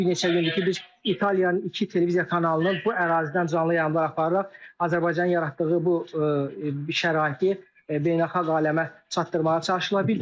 Artıq bir neçə gündür ki, biz İtaliyanın iki televiziya kanalının bu ərazidən canlı yayımlar apararaq Azərbaycanın yaratdığı bu şəraiti beynəlxalq aləmə çatdırmağa çalışırlar.